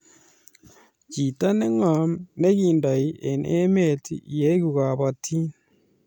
chito neng'om nekiindoi eng eme ileku kabotin?